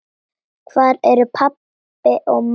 Hvar eru pabbi og mamma?